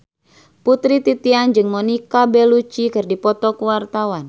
Putri Titian jeung Monica Belluci keur dipoto ku wartawan